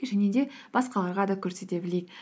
және де басқаларға да көрсете білейік